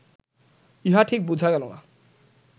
ইহা ঠিক বুঝা গেল না